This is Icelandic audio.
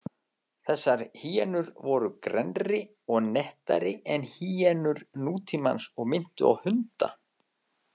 Þessar hýenur voru grennri og nettari en hýenur nútímans og minntu á hunda.